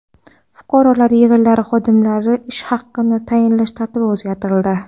Fuqarolar yig‘inlari xodimlariga ish haqi tayinlash tartibi o‘zgartirildi.